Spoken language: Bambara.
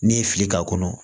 N'i ye fili k'a kɔnɔ